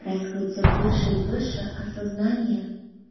происходит всё больше и больше осознание